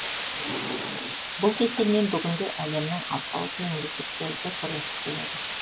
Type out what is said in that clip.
бұл кеселмен бүгінде әлемнің алпауыт мемлекеттері де күресіп келеді